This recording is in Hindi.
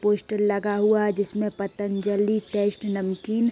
पोस्टर लगा हुआ है जिसमे पतंजलि टेस्ट नमकीन --